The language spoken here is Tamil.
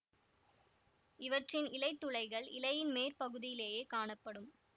இவற்றின் இலைத் துளைகள் இலையின் மேற் பகுதியிலேயே காணப்படும்